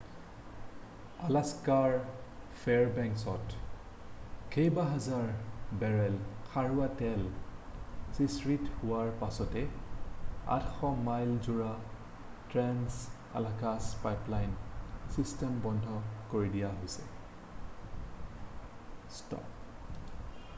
আলাস্কাৰ ফেয়াৰবেংকছত কেইবাহাজাৰ বেৰেল খাৰুৱা তেল সিঁচৰিত হোৱাৰ পাছতে 800 মাইলজোৰা ট্ৰেন্স-আলাকাছ পাইপলাইন ছিষ্টেম বন্ধ কৰি দিয়া হৈছে